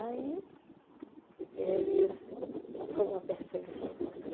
Aí, eles... Foi uma perseguição muito grande.